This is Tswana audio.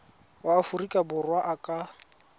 wa aforika borwa a ka